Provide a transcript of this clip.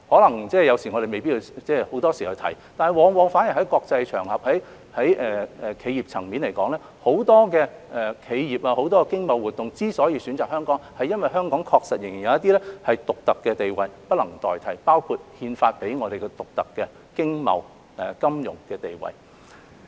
我們有時候未必常常提到，但往往反而在國際場合或企業層面上，很多企業和經貿活動選擇香港，是因為香港確實仍然有一些獨特的地位是不能代替的，包括憲法賦予我們的獨特經貿、金融地位。